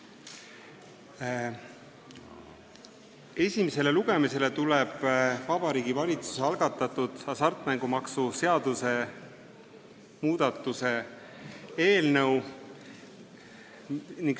Esimesele lugemisele tuleb Vabariigi Valitsuse algatatud hasartmängumaksu seaduse muutmise seaduse eelnõu.